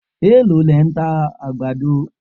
Èló lẹ̀ ń ta àgbàdo